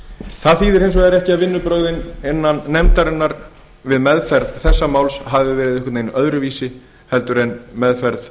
minni hluta það þýðir eins vegar ekki að vinnubrögðin innan nefndarinnar við meðferð þessa máls hafi verið einhvern veginn öðruvísi heldur en meðferð